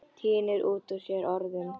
Tínir út úr sér orðin.